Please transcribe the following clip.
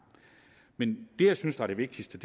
men det jeg synes er det vigtigste